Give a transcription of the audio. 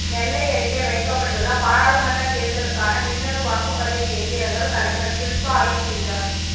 நெல்லை அருகே வைக்கப்பட்டுள்ள பாராளுமன்ற தேர்தலுக்கான மின்னணு வாக்குப்பதிவு எந்திரங்கள் கலெக்டர் ஷில்பா ஆய்வு செய்தார்